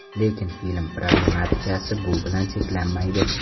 Lekin film problematikasi bu bilan cheklanmaydi.